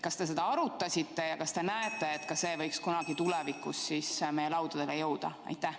Kas te seda arutasite ja kas te näete, et see võiks kunagi tulevikus meie laudadele jõuda?